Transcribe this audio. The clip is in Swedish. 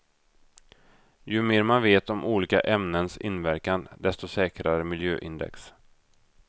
Ju mer man vet om olika ämnens inverkan desto säkrare miljöindex.